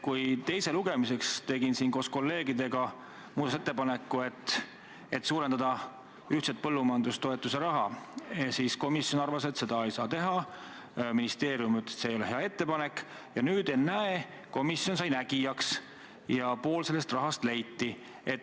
Kui ma teiseks lugemiseks tegin koos kolleegidega muudatusettepaneku, et suurendada ühtse põllumajandustoetuse raha, siis komisjon arvas, et seda ei saa teha, ministeerium ütles, et see ei ole hea ettepanek, aga nüüd, ennäe, on komisjon saanud nägijaks ja pool sellest rahast on leitud.